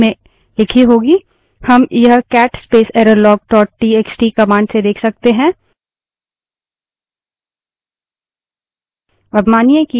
हम यह cat space errorlog dot TXT cat space errorlog dot txt command से देख सकते हैं